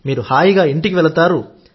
మీరు హాయిగా ఇంటికి వెళతారు